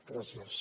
gràcies